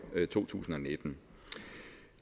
to tusind og nitten